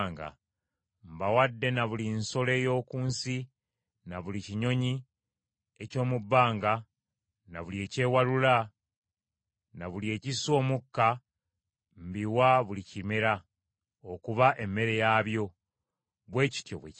Mbawadde na buli nsolo ey’oku nsi, na buli kinyonyi eky’omu bbanga na buli ekyewalula, na buli ekissa omukka mbiwa buli kimera, okuba emmere yaabyo.” Bwe kityo bwe kyali.